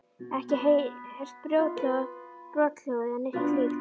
Ekki heyrt brothljóð eða neitt slíkt?